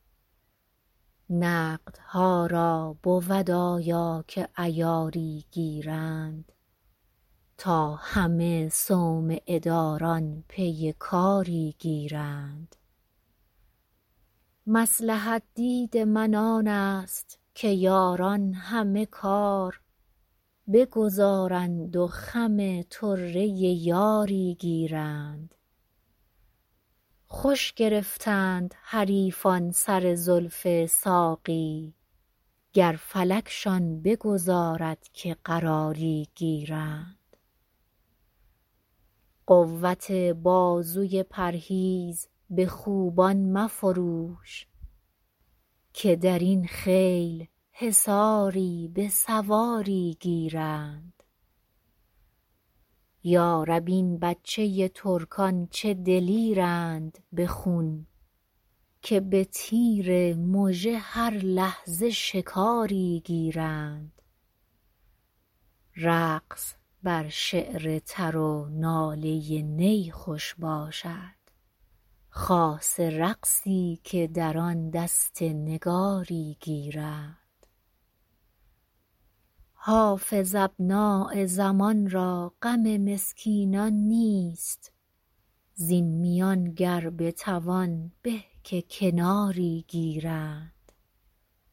نقدها را بود آیا که عیاری گیرند تا همه صومعه داران پی کاری گیرند مصلحت دید من آن است که یاران همه کار بگذارند و خم طره یاری گیرند خوش گرفتند حریفان سر زلف ساقی گر فلکشان بگذارد که قراری گیرند قوت بازوی پرهیز به خوبان مفروش که در این خیل حصاری به سواری گیرند یا رب این بچه ترکان چه دلیرند به خون که به تیر مژه هر لحظه شکاری گیرند رقص بر شعر تر و ناله نی خوش باشد خاصه رقصی که در آن دست نگاری گیرند حافظ ابنای زمان را غم مسکینان نیست زین میان گر بتوان به که کناری گیرند